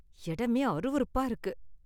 இடமே அருவருப்பா இருக்கு.